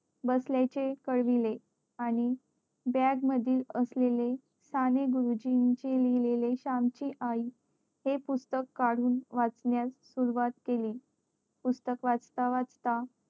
बसल्या चे कळविले आणि bag मधील असलेले साने गुरुजींचे लिहिलेले सांतीआई हे पुस्तक कडून वाचण्यास सुरुवात केली पुस्तक वाचता वाचता